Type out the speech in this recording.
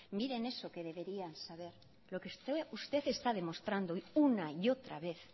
miren en eso que deberían saber lo que usted está demostrando una y otra vez